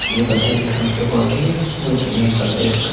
ये पता नहीं कहां पे वाकई है मुझे नहीं पता इसका--